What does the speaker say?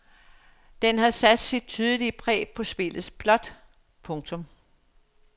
Den har sat dit tydelige præg på spillets plot. punktum